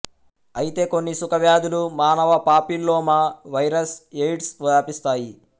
అయితే కొన్ని సుఖ వ్యాధులు మానవ పాపిల్లోమా వైరస్ ఎయిడ్స్ వ్యాపిస్తాయి